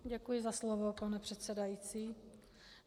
Děkuji za slovo, pane předsedající.